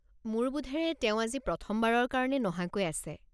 মোৰ বোধেৰে তেওঁ আজি প্ৰথমবাৰৰ কাৰণে নহাকৈ আছে।